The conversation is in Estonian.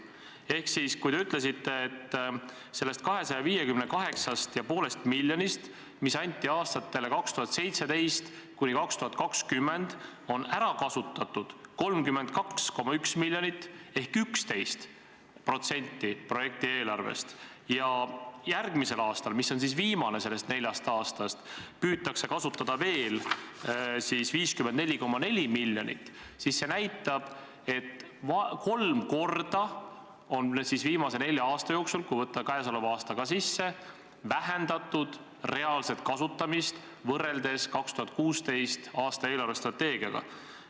Ehk kui te ütlesite, et sellest 258,5 miljonist, mis anti aastateks 2017–2020, on ära kasutatud 32,1 miljonit ehk 11% projekti eelarvest ja järgmisel aastal, mis on viimane sellest neljast aastast, püütakse ära kasutada veel 54,4 miljonit, siis see näitab, et viimase nelja aasta jooksul, kui võtta sisse ka käesolev aasta, on reaalset kasutamist vähendatud kolm korda võrreldes 2016. aasta eelarvestrateegias esitatuga.